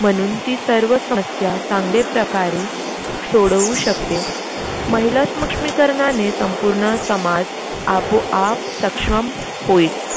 म्हणून ती सर्व समस्या चांगले प्रकारे सोडवू शकते. महिला स्मक्ष्मीकरनाने संपूर्ण समाज आपोआप सक्षम होईल.